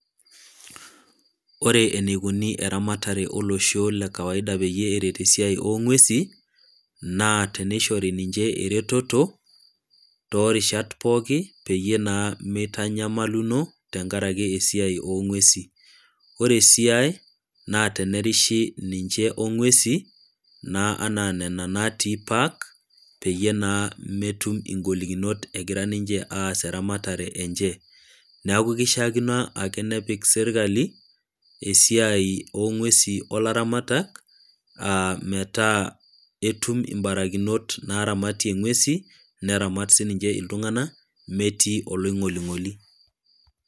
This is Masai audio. Ore eneikuni eramatare olosho le kawaida peyie eret esiai oo ng'uesi, naa teneishori nnche eretoto, topo irishat pooki peyie naa meitanyamaluno tenkaraki esiai oo ng'uesi. Ore si ai na tenerishi ninche o ng'uesi, naa anaa nena natii park, peyie naa ,metum ingolikinot egira ninche aas eramatare enche. Neaku keishaakino ake nepik serkali, esiai oo ng'usin o larammatak, metaa etum imbarakinot naaramatie ing'uesin, neramat sii ninche iltung'ana metii oloing'oling'oli.